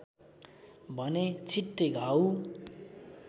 भने छिट्टै घाउ